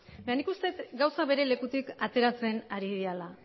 nik uste dut gauzak beren lekutik ateratzen ari direla